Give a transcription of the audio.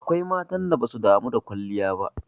Akwai matan da basu damu da kwalliya ba.